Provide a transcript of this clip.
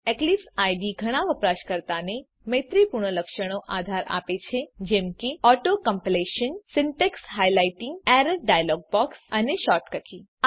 Eclipse IDE ઘણા વપરાશકર્તાને મૈત્રીપૂર્ણ લક્ષણોને આધાર આપે છે જેમ કે auto completion syntax highlighting error dialog box અને શૉર્ટકટ કી